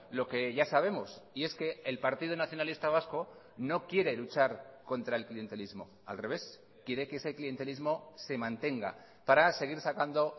lo que ya sabemos y es que el partido nacionalista vasco no quiere luchar contra el clientelismo al revés quiere que ese clientelismo se mantenga para seguir sacando